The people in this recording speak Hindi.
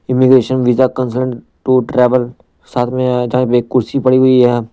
immigration visa consultant to travel साथ में जहां पे कुर्सी पड़ी हुई है--